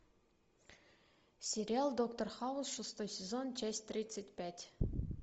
сериал доктор хаус шестой сезон часть тридцать пять